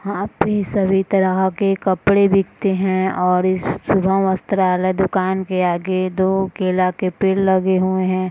सभी तरह के कपड़े बिकते हैं और इस शुभम वस्त्रालय दुकान के आगे दो केला के पेड़ लगे हुए हैं ।